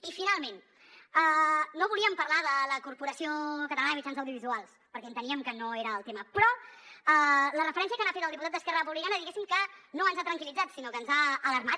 i finalment no volíem parlar de la corporació catalana de mitjans audiovisuals perquè enteníem que no era el tema però la referència que n’ha fet el diputat d’es·querra republicana diguéssim que no ens ha tranquil·litzat sinó que ens ha alarmat